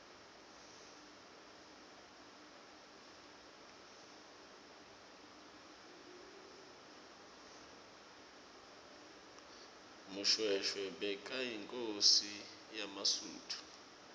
mushoeshoe bekayinkhosi yemasuthu